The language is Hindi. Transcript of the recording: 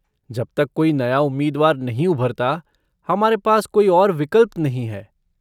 जब तक कोई नया उम्मीदवार नहीं उभरता, हमारे पास कोई और विकल्प नहीं है।